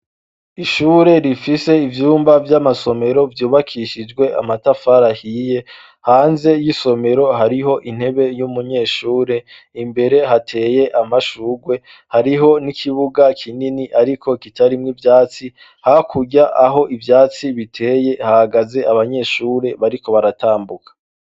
Ishure rifise ivyumba vy'amasomero vyubakishijwe amatafari ahiye. Hanze y'isomero hariho intebe y'umunyeshure; imbere hateye amashurwe, hariho n'ikibuga kinini ariko kitarimwo ivyatsi. Hakurya aho ivyatsi biteye hahagaze abanyeshure bariko baratambuka.